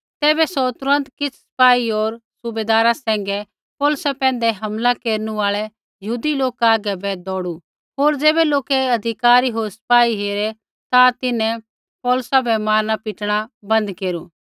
तैबै सौ तुरन्त किछ़ सिपाही होर सूबैदारा सैंघै पौलुसा पैंधै हमला केरनु आल़ै यहूदी लोका हागै बै दौड़ू होर ज़ैबै लोकै अधिकारी होर सिपाही हेरै ता तिन्हैं पौलुसा बै मारना पीटणा बन्द केरू